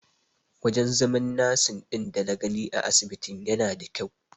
Wajen zaman nasin ɗin dana gani a asibitin yana da kyau.